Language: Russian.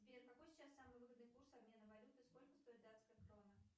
сбер какой сейчас самый выгодный курс обмена валюты и сколько стоит датская крона